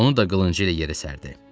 Onu da qılıncı ilə yerə sərdi.